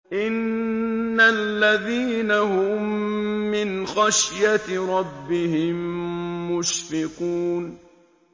إِنَّ الَّذِينَ هُم مِّنْ خَشْيَةِ رَبِّهِم مُّشْفِقُونَ